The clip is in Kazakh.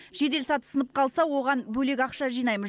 жедел саты сынып қалса оған бөлек ақша жинаймыз